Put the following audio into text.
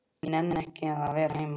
Ég nenni ekki að vera heima.